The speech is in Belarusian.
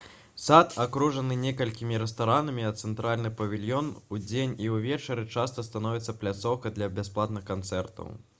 сад акружаны некалькімі рэстаранамі а цэнтральны павільён удзень і ўвечары часта становіцца пляцоўкай для бясплатных канцэртаў